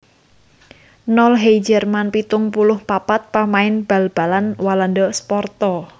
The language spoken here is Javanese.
Nol Heijerman pitung puluh papat pamain bal balan Walanda Sparta